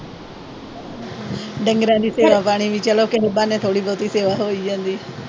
ਡੰਗਰਾਂ ਦੀ ਸੇਵਾ-ਪਾਣੀ, ਉਹ ਵੀ ਚਲੋ ਕਿਸੇ ਬਹਾਨੇ ਹੋ ਈ ਜਾਂਦੀ ਆ।